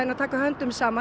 að taka höndum saman